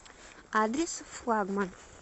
адрес флагман